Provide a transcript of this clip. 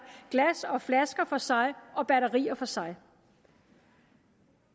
glas og flasker for sig og batterier for sig